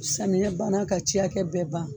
Samiyɛ banna ka tiyakɛ bɛɛ ban.